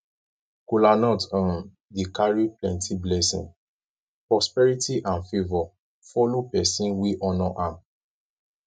kolanut um dey kari plenti blessin prosperity and favor follow pesin wey honor am